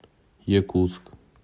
якутск